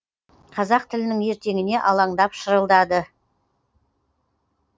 қазақ тілінің ертеңіне алаңдап шырылдады